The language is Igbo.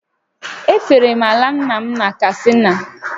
E fere m ala nna m na Katsina